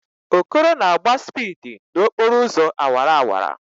Okoro na-agba spịdi n'okporo ụzọ awara awara